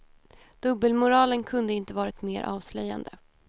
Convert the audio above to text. Dubbelmoralen kunde inte varit mer avslöjande.